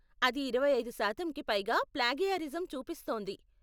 అది ఇరవై ఐదు శాతంకి పైగా ప్లాగియారిజం చూపిస్తోంది.